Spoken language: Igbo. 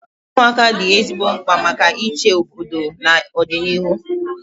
Ụmụaka dị ezigbo mkpa maka ịchị obodo na ọdịnihu